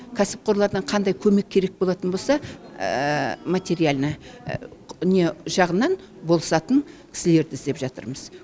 кәсіпқорлардан қандай көмек керек болатын болса материально не жағынан болысатын кісілерді іздеп жатырмыз